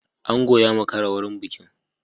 Ango ya makara wajen bikin.